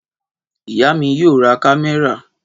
Ìyá mi yóò rí kámẹ́rà